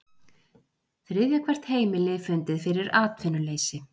Þriðja hvert heimili fundið fyrir atvinnuleysi